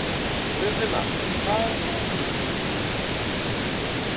Friðfinna, hvað er á dagatalinu í dag?